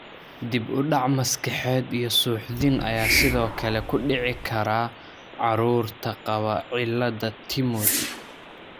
Dib u dhac maskaxeed iyo suuxdin ayaa sidoo kale ku dhici kara carruurta qaba cilada Timothy .